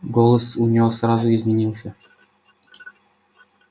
голос у неё сразу изменился